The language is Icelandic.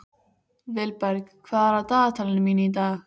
Vilberg, hvað er á dagatalinu mínu í dag?